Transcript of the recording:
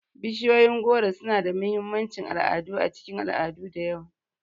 Bishiyoyin goro suna da mahimmancin al'adu a cikin al'adu da yawa.